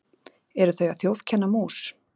eru þau að þjófkenna mús